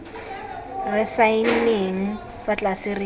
re saenneng fa tlase re